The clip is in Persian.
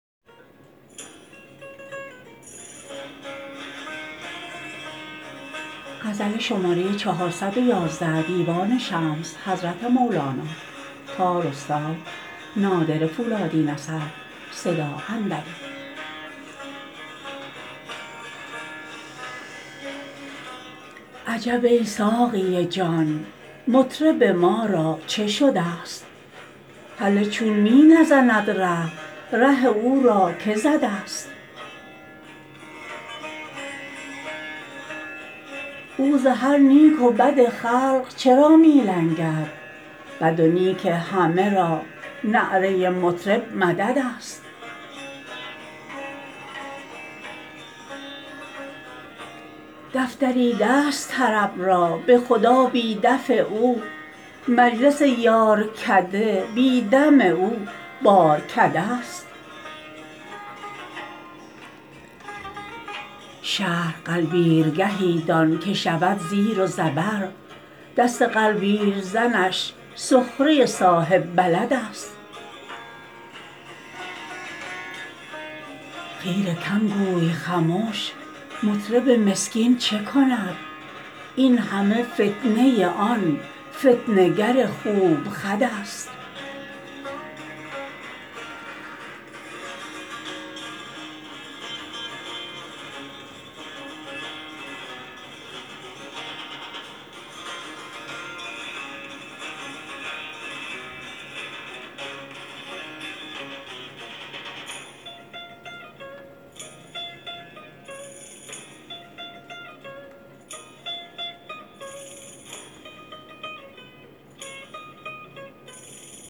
عجب ای ساقی جان مطرب ما را چه شدست هله چون می نزند ره ره او را که زدست او ز هر نیک و بد خلق چرا می لنگد بد و نیک همه را نعره مطرب مددست دف دریدست طرب را به خدا بی دف او مجلس یارکده بی دم او بارکدست شهر غلبیرگهی دان که شود زیر و زبر دست غلبیرزنش سخره صاحب بلدست خیره کم گوی خمش مطرب مسکین چه کند این همه فتنه آن فتنه گر خوب خدست